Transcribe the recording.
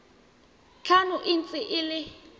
tlhano e ntse e le